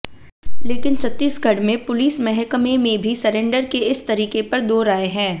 लेकिन छत्तीसगढ़ में पुलिस महकमे में भी सरेंडर के इस तरीके पर दो राय है